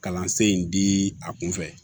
Kalansen in di a kun fɛ